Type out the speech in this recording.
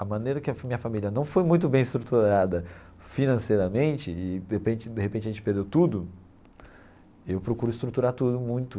A maneira que a minha família não foi muito bem estruturada financeiramente e, de repente de repente, a gente perdeu tudo, eu procuro estruturar tudo muito.